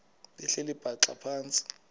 behleli bhaxa phantsi